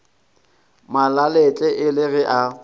malalatle e le ge a